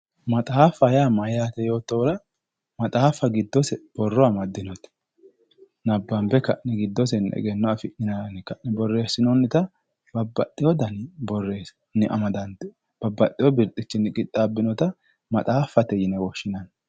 Maxaaffa yaa mayyaate yoottohura maxaaffa giddose borro amaddinote nabbanbe ka'ne giddosenni egenno afi'nara yine ka'ne borreessinoonnita babbaxxeyo garinni babbaxxeyo birxichinni amadante qixxaabbinota maxaaffate yine woshshinanni